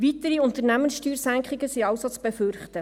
Weitere Unternehmenssteuersenkungen sind also zu befürchten.